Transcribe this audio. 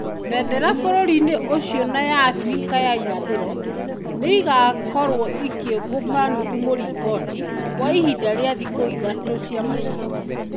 Bendera bũrũri-inĩ ũcio na ya Abirika ya Irathĩro nĩ cigaakorũo cikeũmbũka nuthu mũringoti. Kwa ihinda rĩa thikũ ithatũ cia macakaya.